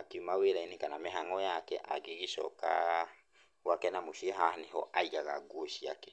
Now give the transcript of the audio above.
akiuma wĩra-inĩ kana mĩhango yake agĩgĩcoka gwake na mũciĩ nĩho aigaga nguo ciake.